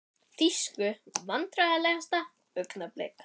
Þýsku Vandræðalegasta augnablik?